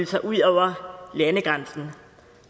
sig ud over landegrænsen